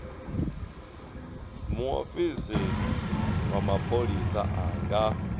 muofisi wa mapholisa a nga